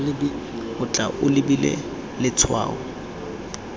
o tla o lebile letshwao